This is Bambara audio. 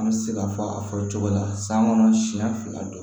An bɛ se ka fɔ a fɔ cogo la san kɔnɔ siɲɛ fila don